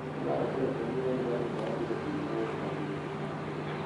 en klab achiel kende maen Burnely maonge jatugo mawuok Afrika.